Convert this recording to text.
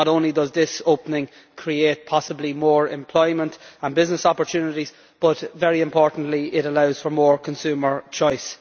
Not only does this opening create possibly more employment and business opportunities but, very importantly, it allows for more consumer choice.